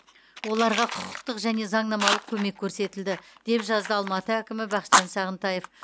оларға құқықтық және заңнамалық көмек көрсетілді деп жазды алматы әкімі бақытжан сағынтаев